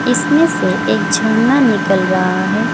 इसमें से एक झरना निकल रहा है।